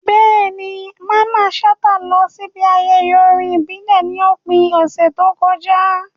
Bẹ́ẹ̀ni, Mamman Shata lọ síbi ayẹyẹ orin ìbílẹ̀ ní òpin ọ̀sẹ̀ tó kọjá.